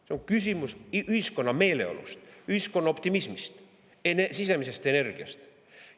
See on küsimus ühiskonna meeleolust, ühiskonna optimismist ja sisemisest energiast.